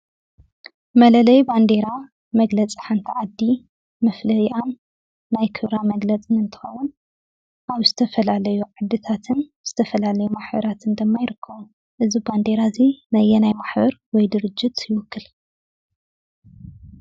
መለለዪ ባንዲራ መግለፂ ሓንቲ ዓዲ፣ መፍለዪኣን ናይ ክብራ መግለፅን እንትኸውን ኣብ ዝተፈላለዩ ዓድታትን ዝተፈላለዩ ማሕበራትን ድማ ይርከቡ፡፡ እዚ ባንዲራ እዚ ናየናይ ማሕበር ወይ ድርጅት ይውክል?